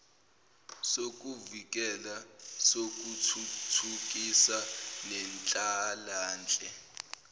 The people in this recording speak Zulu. sokuvikela sokuthuthukisa nenhlalanhle